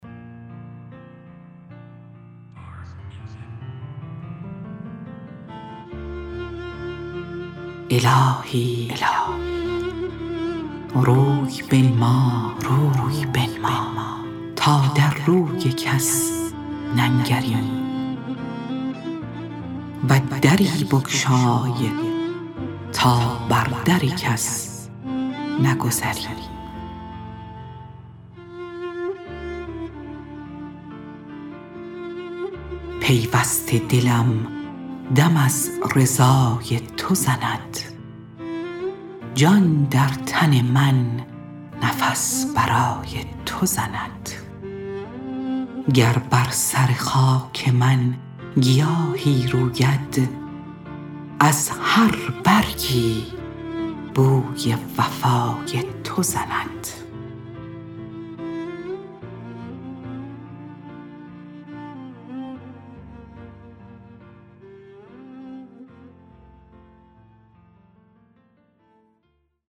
الهی روی بنما تا در روی کسی ننگریم و دری بگشی تا بر در کس نگذریم پیوسته دلم دم ار رضای تو زند جان در تن من نفس برای تو زند گر بر سر خاک من گیاهی روید از هر برگی بوی وفای تو زند